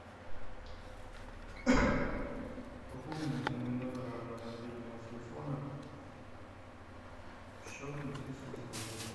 пополни на мой номер мобильного телефона счет на тридцать восемь рублей